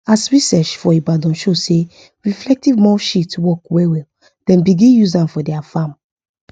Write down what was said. as research for ibadan show say reflective mulch sheet work well well dem begin use am for their farm